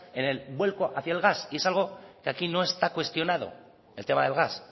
en el vuelco hacia el gas y es algo que aquí no está cuestionado el tema del gas